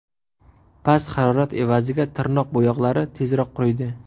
Past harorat evaziga tirnoq bo‘yoqlari tezroq quriydi.